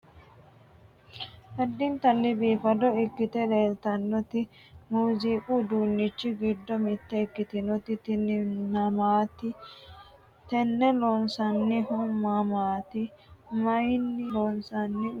addintani biifado ikkite leeltannoti muuziiqu uduunnichi giddo mitte ikkitinoti tini nmaati? tenne loonsannihu mamaati? mayiinni loonsanni uduunnichooti kuniro xawisi ?